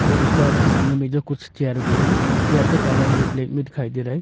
और उसका सामने मेज कुर्सी और चेयर भी है चेयर का कलर जो ब्लैक में दिखाई दे रहा है।